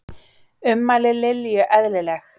Ummæli Lilju eðlileg